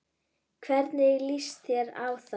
Hvernig líst þér á það?